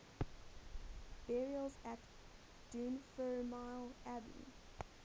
burials at dunfermline abbey